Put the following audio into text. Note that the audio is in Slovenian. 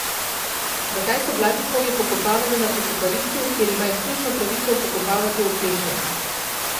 Zakaj so Blatnikovi pokopavali na pokopališču, kjer ima izključno pravico pokopavati Oklešen?